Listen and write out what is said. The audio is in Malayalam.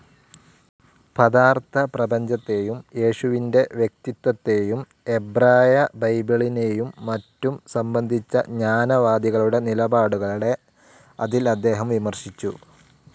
പദാർത്ഥപ്രപഞ്ചത്തേയും യേശുവിൻ്റെ വ്യക്തിത്വത്തെയും എബ്രായബൈബിളിനെയും മറ്റും സംബന്ധിച്ച ജ്ഞാനവാദികളുടെ നിലപാടുകളെ അതിൽ അദ്ദേഹം വിമർശിച്ചു.